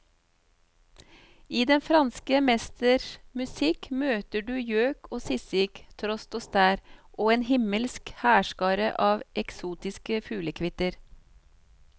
I den franske mesters musikk møter du gjøk og sisik, trost og stær og en himmelsk hærskare av eksotisk fuglekvitter.